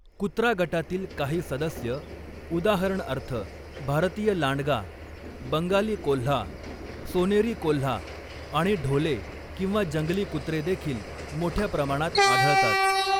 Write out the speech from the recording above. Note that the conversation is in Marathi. कुत्रा गटातील काही सदस्य, उदाहरणार्थ भारतीय लांडगा, बंगाली कोल्हा, सोनेरी कोल्हा आणि ढोले किंवा जंगली कुत्रे देखील मोठ्या प्रमाणात आढळतात.